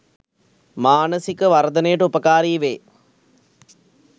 මානසික වර්ධනයටඋපකාරී වේ.